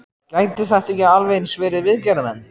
Gætu þetta ekki alveg eins verið viðgerðarmenn?